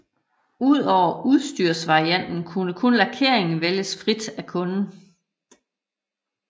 Udover udstyrsvarianten kunne kun lakeringen vælges frit af kunden